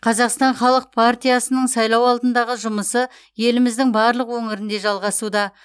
қазақстан халық партиясының сайлау алдындағы жұмысы еліміздің барлық өңірінде жалғасуда